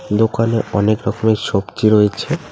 দোকানে অনেক রকমের সবজি রয়েছে।